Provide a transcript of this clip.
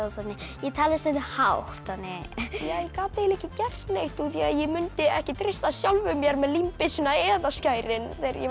ég tala stundum hátt ég gat eiginlega ekki gert neitt af því ég mundi ekki treysta sjálfum mér með límbyssuna eða skærin þegar ég var